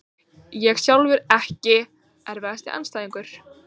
Ég sjálfur EKKI erfiðasti andstæðingur?